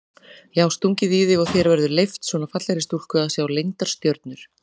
Já stungið í þig og þér verið leyft, svona fallegri stúlku að sjá leyndar stjörnur?